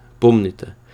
Pomnite!